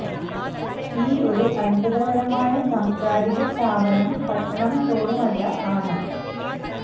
ഈ ഒരു അത്ഭുതകരമായ സാംസ്കാരിക സ്ഥാപനം പട്ടണം തോറും അല്ല ആണ്